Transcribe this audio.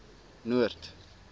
noord